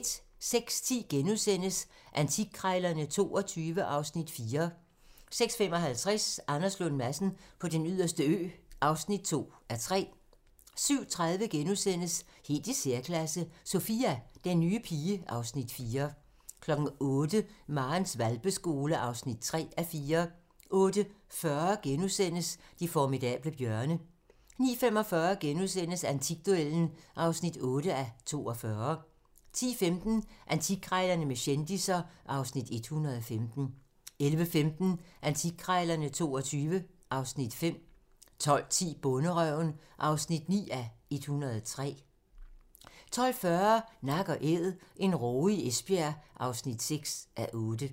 06:10: Antikkrejlerne XXII (Afs. 4)* 06:55: Anders Lund Madsen på Den Yderste Ø (2:3) 07:30: Helt i særklasse - Sophia, den nye pige (Afs. 4)* 08:00: Marens hvalpeskole (3:4) 08:40: De formidable bjørne * 09:45: Antikduellen (8:42)* 10:15: Antikkrejlerne med kendisser (Afs. 115) 11:15: Antikkrejlerne XXII (Afs. 5) 12:10: Bonderøven (9:103) 12:40: Nak & æd - en råge i Esbjerg (6:8)